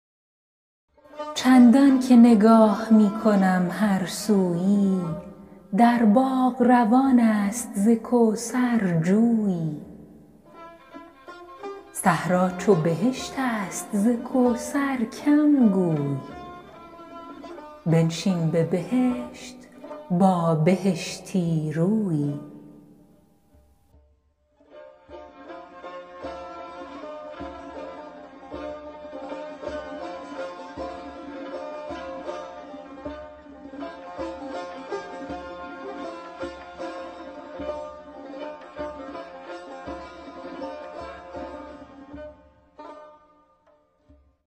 چندان که نگاه می کنم هر سویی در باغ روان است ز کوثر جویی صحرا چو بهشت است ز کوثر کم گوی بنشین به بهشت با بهشتی رویی